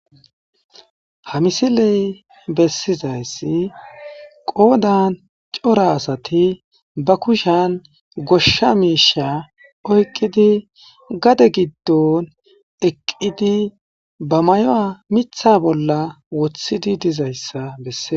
Ha misille besizayssi qodan Cora asati ba kushshiyan goshsha Misha oqidi, gade godon eqidi ba mayuwa miththa bolla woththidi dizaysa besses.